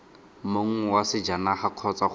mong wa sejanaga kgotsa go